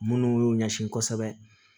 Minnu y'u ɲɛsin kɔsɛbɛ